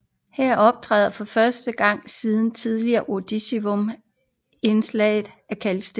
Her optræder for første gang siden Tidlig Ordovicium indslag af kalksten